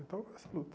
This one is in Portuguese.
Então, essa luta.